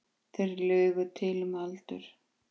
Þeir lugu til um aldur.